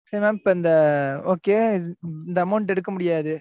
mam, இப்ப இந்த, okay, இந்த amount எடுக்க முடியாது.